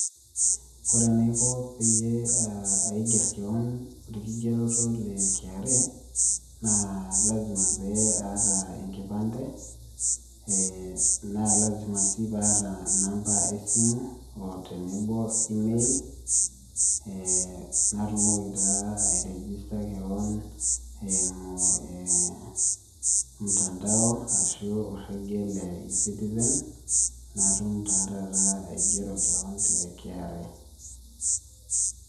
Ore enaiko peyie aiger kewon olkigeroto le KRA naa lazima pee aata enkipante, ee naa lazima sii paata inamba esimu, oo tenebo email ee natumoki taa ee ai register kewon eimu ee mtandao ashu orrekie le citizen natum naa taata aigero kewon te KRA.